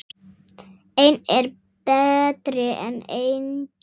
Einn er betri en enginn!